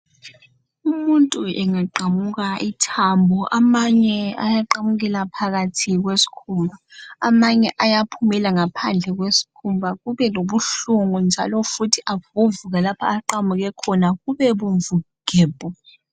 Umuntu engaqamuka ithambo amanye ayaqamukela phakathi kweskhumba .Amanye ayaphumela ngaphandle kwe skhumba kube lobuhlungu njalo futhi avuvuke lapho aqamuke khona kube bomvu gebhu.